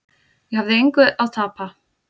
Ég hafði engu að tapa.